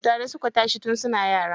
Tare suka tashi tun suna yara.